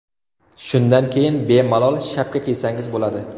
Shundan keyin bemalol shapka kiysangiz bo‘ladi.